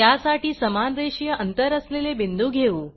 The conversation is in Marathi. त्यासाठी समान रेषीय अंतर असलेले बिंदू घेऊ